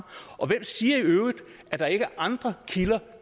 og hvem siger i øvrigt at der ikke er andre kilder